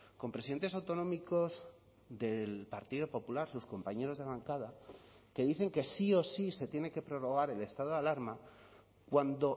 con presidentes autonómicos del partido popular sus compañeros de bancada que dicen que sí o sí se tiene que prorrogar el estado de alarma cuando